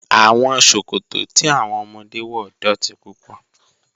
Awọn sọkọtọ̀ tí awọn ọmọdé wọ dọ́ti púpọ̀.